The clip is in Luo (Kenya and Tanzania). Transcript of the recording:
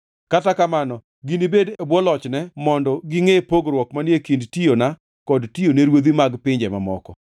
Kata kamano ginibed e bwo lochne mondo gingʼe pogruok manie kind tiyona kod tiyone ruodhi mag pinje mamoko.”